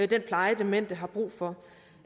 den pleje demente har brug for